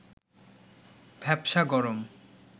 ভ্যাপসা গরম